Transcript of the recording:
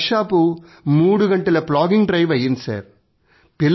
అరగంట workshop మూడు గంటల ప్లాగింగ్ డ్రైవ్ అయ్యింది